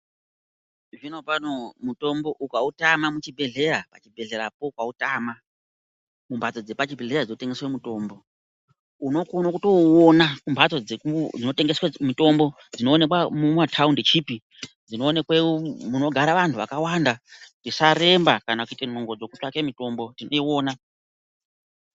Zvinopano mutombo ukautama muchibhehlera, pachibhehlerapo ukautama, mumhatso dzepachibhehlera dzinotengeswe mutombo, unokone kutouona kumhatso dzinotengeswe mitombo, dzinoonekwe mumathaundi chipi, dzinoonekwe munogare vanhu vakawanda. Tisaremba kana kuite nungo dzekutsvake mitombo tinoiona.